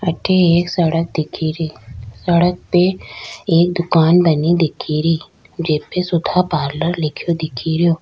अठे एक सड़क दिखेरी सड़क पे एक दुकान बनी दिखेरी जेपे सुधा पार्लर लिखे दीखेड़ो।